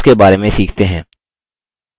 अब callouts के बारे में सीखते हैं